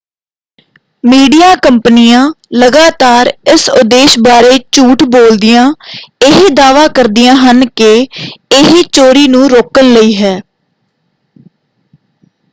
Media ਕੰਪਨੀਆ ਲਗਾਤਾਰ ਇਸ ਉਦੇਸ਼ ਬਾਰੇ ਝੂਠ ਬੋਲਦੀਆਂ ਇਹ ਦਾਅਵਾ ਕਰਦੀਆਂ ਹਨ ਕਿ ਇਹ ਚੋਰੀ ਨੂੰ ਰੋਕਣ ਲਈ ਹੈ।